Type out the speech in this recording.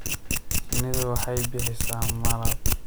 Shinnidu waxay bixisa malab.